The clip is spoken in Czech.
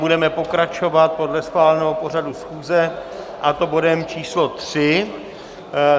Budeme pokračovat podle schváleného pořadu schůze, a to bodem číslo